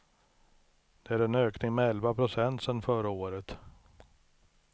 Det är en ökning med elva procent sedan förra året.